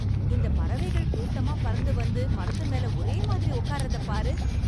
இந்த பறவைகள் கூட்டமா பறந்து வந்து, மரத்துமேல ஒரே மாதிரி உக்கார்றதப் பாரு...